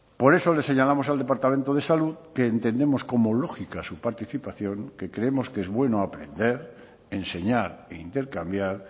por eso le señalamos al departamento de salud que entendemos como lógica su participación que creemos que es bueno aprender enseñar e intercambiar